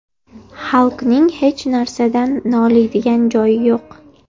Halkning hech narsadan noliydigan joyi yo‘q.